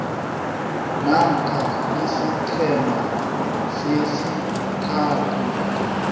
namkha isiqhema sesithathu